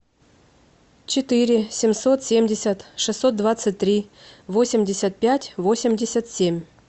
четыре семьсот семьдесят шестьсот двадцать три восемьдесят пять восемьдесят семь